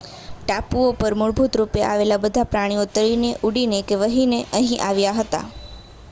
ટાપુઓ પર મૂળભૂત રૂપે આવેલાં બધાં પ્રાણીઓ તરીને ઊડીને કે વહીને અહીં આવ્યા હતાં